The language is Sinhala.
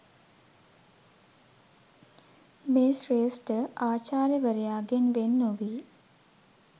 මේ ශ්‍රේෂ්ඨ ආචාර්යවරයාගෙන් වෙන් නොවී